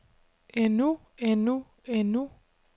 endnu endnu endnu